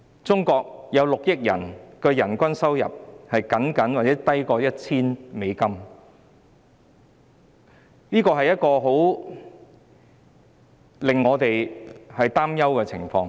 中國有6億人的人均月收入僅約 1,000 元，這是一種令我們擔憂的情況。